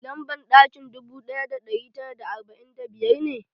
Lamban ɗakin dubu ɗaya da ɗari tara da arba'in da biyar ne?